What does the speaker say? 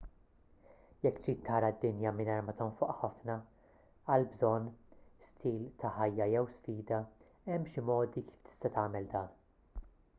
jekk trid tara d-dinja mingħajr ma tonfoq ħafna għal bżonn stil ta' ħajja jew sfida hemm xi modi kif tista' tagħmel dan